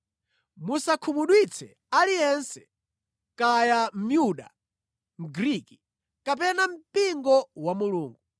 Musakhumudwitse aliyense, kaya ndi Myuda, Mgriki, kapena mpingo wa Mulungu.